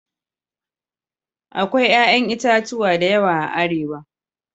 Akwai 'ƴa'ƴan itatuwa da yawa a Arewa.